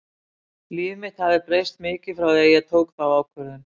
Líf mitt hafði breyst mikið frá því að ég tók þá ákvörðun.